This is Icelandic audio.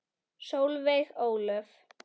Solveig Ólöf.